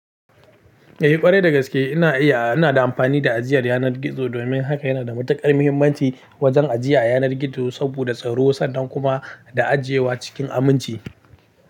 Eh ƙwarai dagaske ina iya, ina da amfani da ajiyar yanar gizo domin haka yana da matuƙar mahimmanci wajen ajiya yanar gizo saboda tsaro sannan kuma da ajiyewa cikin aminci.